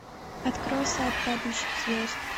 открой сад падающих звезд